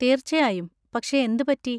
തീർച്ചയായും, പക്ഷെ എന്ത് പറ്റി?